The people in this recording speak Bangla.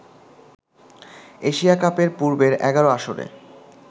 এশিয়া কাপের পূর্বের ১১ আসরে